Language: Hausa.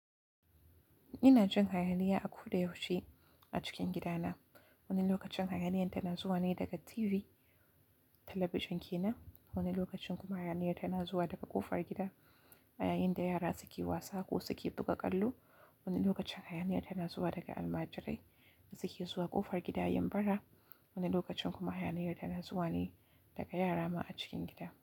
Ina jin hayaniya a koda yaushe a cikin gidana. Wani lokacin hayaniyar tana zuwa ne daga TV, talabijin ke nan. Wani lokacin kuma hayaniyar tana zuwa daga ƙofar gida, a yayin da yara suke wasa ko suke buga ƙwallo. Wani lokacin hayaniya tana zuwa daga almajirai da suke zuwa ƙofar gida yin bara. Wani lokacin kuma hayaniyar tana zuwa ne daga yara ma a cikin gida.